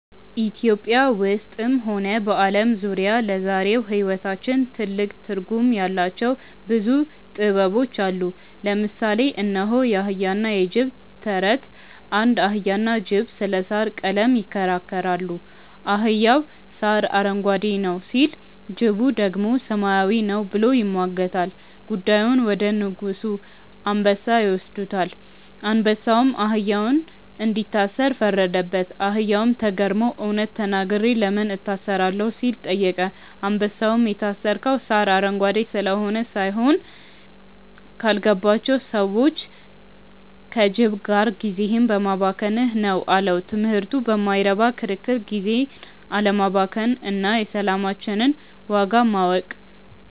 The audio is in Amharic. ኢትዮጵያ ውስጥም ሆነ በዓለም ዙሪያ ለዛሬው ሕይወታችን ትልቅ ትርጉም ያላቸው ብዙ ጥበቦች አሉ። ለምሳሌ እነሆ፦ የአህያና የጅብ ተረት (ታሪክ) አንድ አህያና ጅብ ስለ ሣር ቀለም ይከራከራሉ። አህያው "ሣር አረንጓዴ ነው" ሲል፣ ጅቡ ደግሞ "ሰማያዊ ነው" ብሎ ይሟገታል። ጉዳዩን ወደ አንበሳ (ንጉሡ) ይወስዱታል። አንበሳውም አህያውን እንዲታሰር ፈረደበት። አህያውም ተገርሞ "እውነት ተናግሬ ለምን እታሰራለሁ?" ሲል ጠየቀ። አንበሳውም "የታሰርከው ሣር አረንጓዴ ስለሆነ ሳይሆን፣ ካልገባቸው ሰዎች (ከጅብ) ጋር ጊዜህን በማባከንህ ነው" አለው። ትምህርቱ በማይረባ ክርክር ጊዜን አለማባከን እና የሰላማችንን ዋጋ ማወቅ።